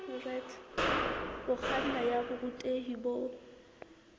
ho kganna ya borutehi bo